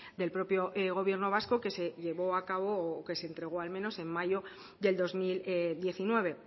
del propio gobierno vasco que se llevó a cabo o que se entregó al menos en mayo del dos mil diecinueve